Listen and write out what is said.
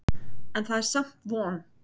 En það er samt von.